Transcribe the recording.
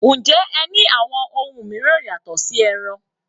Njẹ́ ẹ ní àwọn ohun mìíràn yàtọ̀ sí ẹran?